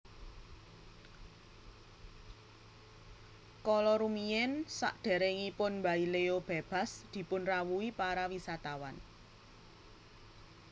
Kala rumiyin saderengipun Baileo bebas dipun rawuhi para wisatawan